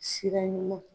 Sira ɲuman